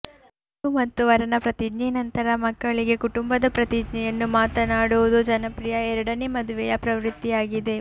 ವಧು ಮತ್ತು ವರನ ಪ್ರತಿಜ್ಞೆ ನಂತರ ಮಕ್ಕಳಿಗೆ ಕುಟುಂಬದ ಪ್ರತಿಜ್ಞೆಯನ್ನು ಮಾತನಾಡುವುದು ಜನಪ್ರಿಯ ಎರಡನೇ ಮದುವೆಯ ಪ್ರವೃತ್ತಿಯಾಗಿದೆ